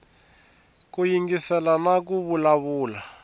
ku yingisela na ku vulavula